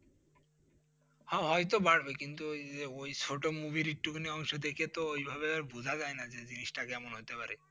হা হয়তো বাড়বে, কিন্তু ওই যে ওই ছোট Movie -র একটুখানি অংশ দেখে তো ওইভাবে আর বোঝা যায় না যে জিনিসটা কেমন হইতে পারে।